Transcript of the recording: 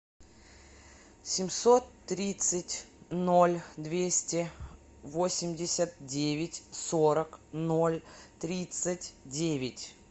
семьсот тридцать ноль двести восемьдесят девять сорок ноль тридцать девять